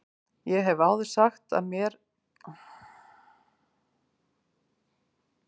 Ég hef áður sagt þér frá manni sem ég er með, segir mamma.